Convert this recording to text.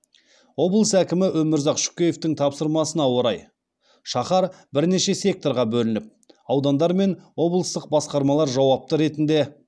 облыс әкімі өмірзақ шөкеевтің тапсырмасына орай шаһар бірнеше секторға бөлініп аудандар мен облыстық басқармалар жауапты ретінде